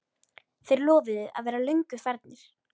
Þeir lofuðu að vera löngu farnir.